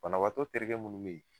Banabaatɔ terikɛ minnu bɛ yen